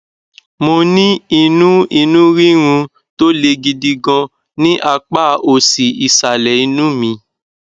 mo ní inú inú rírun tó le gidi gan ní apá òsì ìsàlẹ inú mi